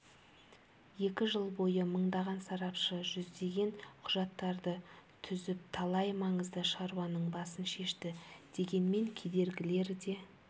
екі жыл бойы мыңдаған сарапшы жүздеген құжаттарды түзіп талай маңызды шаруаның басын шешті дегенмен кедергілер де